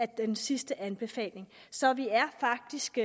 den sidste anbefaling så vi er faktisk